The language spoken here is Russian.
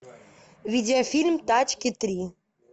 видеофильм тачки три